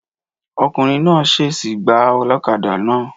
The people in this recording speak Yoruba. Ọkùnrin náà sèèsì gbà olókadà náà